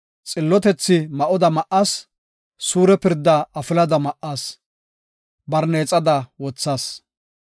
Xillotethaa ma7oda ma7as; suure pirdaa afilada ma7as; barneexada wothas.